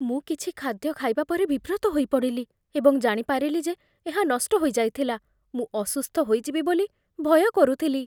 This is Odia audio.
ମୁଁ କିଛି ଖାଦ୍ୟ ଖାଇବା ପରେ ବିବ୍ରତ ହୋଇପଡ଼ିଲି ଏବଂ ଜାଣିପାରିଲି ଯେ ଏହା ନଷ୍ଟ ହୋଇଯାଇଥିଲା। ମୁଁ ଅସୁସ୍ଥ ହୋଇଯିବି ବୋଲି ଭୟ କରୁଥିଲି।